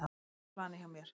Það er planið hjá mér.